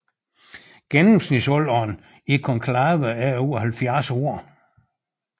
Gennemsnitsalderen i konklavet er over 70 år